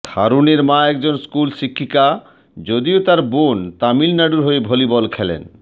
ধারুনের মা একজন স্কুল শিক্ষিকা যদিও তার বোন তামিলনারু হয়ে ভলিবল খেলেন